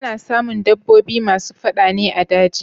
Ana samun dabbobi masu fada ne a daji.